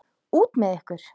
Út með ykkur!